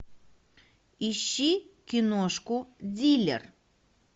ищи киношку дилер